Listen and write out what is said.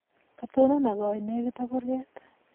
Katonon akowo lenegit ak kurget